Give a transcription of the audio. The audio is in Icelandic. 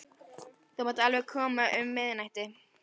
Þú mátt alveg koma um miðnættið.